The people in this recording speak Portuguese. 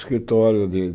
escritório de